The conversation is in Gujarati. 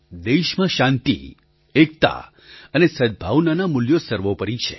દેશમાં શાંતિ એકતા અને સદ્ભાવનાનાં મૂલ્યો સર્વોપરિ છે